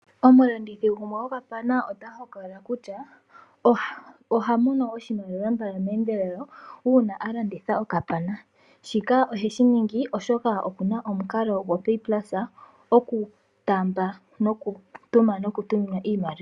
Omu landithi gumwe go kapana ota hokolola kutya ohamono oshimaliwa mbala meendelelo uuna alanditha o kapana. Shika oheshi ningi oshoka omukalo go PayPulse oku taamba noku tuma noku tuminwa iimaliwa.